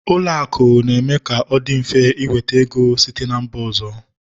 Ụlọ akụ na-eme ka ọ dị mfe ị nweta ego site na mba ọzọ